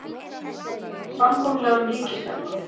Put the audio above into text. Samkomulag um ríkisfjármálin